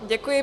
Děkuji.